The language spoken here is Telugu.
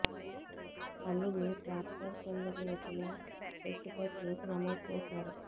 తల్లిని ట్రాక్టర్ కిందికి నెట్టిన వ్యక్తిపై కేసు నమోదు చేశారు